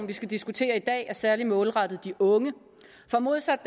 vi skal diskutere i dag er særlig målrettet de unge for modsat